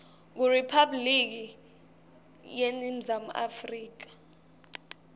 kuriphabhuliki yeningizimu afrika